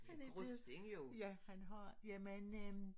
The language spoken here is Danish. Han er blevet ja han har jamen øh